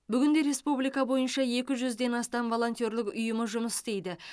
бүгінде республика бойынша екі жүзден астам волонтерлік ұйымы жұмыс істейді